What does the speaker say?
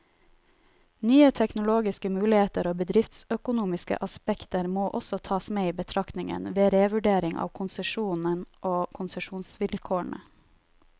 Nye teknologiske muligheter og bedriftsøkonomiske aspekter må også tas med i betraktningen, ved revurdering av konsesjonen og konsesjonsvilkårene.